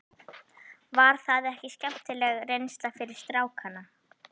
Var það ekki skemmtileg reynsla fyrir strákana?